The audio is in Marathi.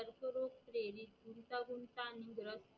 देवी गुंतागुंताद्र